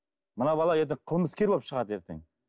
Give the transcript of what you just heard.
мына бала ертең қылмыскер болып шығады ертең